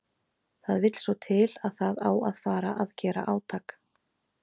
Það vill svo til að það á að fara að gera átak.